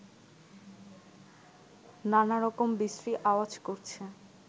নানারকম বিশ্রি আওয়াজ করছে